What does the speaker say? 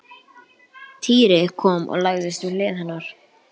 Týri kom og lagðist við hlið hennar.